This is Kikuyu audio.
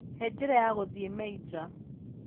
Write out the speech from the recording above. He njĩra ya gũthiĩ Meijer